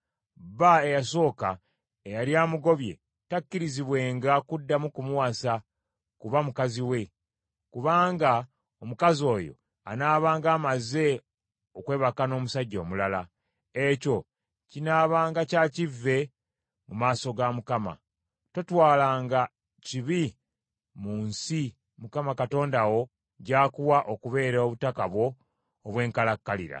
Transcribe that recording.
bba eyasooka, eyali amugobye takkirizibwenga kuddamu kumuwasa kuba mukazi we, kubanga omukazi oyo anaabanga amaze okwebaka n’omusajja omulala. Ekyo kinaabanga kya kivve mu maaso ga Mukama . Totwalanga kibi mu nsi Mukama Katonda wo gy’akuwa okubeera obutaka bwo obw’enkalakkalira.